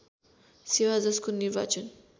सेवा जसको निर्वाचन